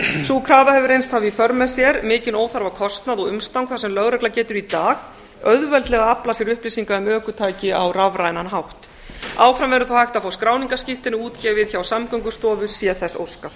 sú krafa hefur reynst hafa í för með sér mikinn óþarfa kostnað og umstang þar sem lögregla getur í dag auðveldlega aflað sér upplýsinga um ökutæki á rafrænan hátt áfram verður þó hægt að fá skráningarskírteini útgefið hjá samgöngustofu sé þess óskað